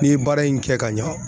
N'i ye baara in kɛ ka ɲa